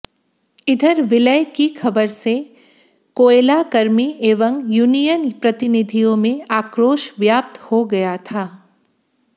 इधर विलय की खबर से कोयलाकर्मी एवं यूनियन प्रतिनिधियों में आक्रोश व्याप्त हो गया था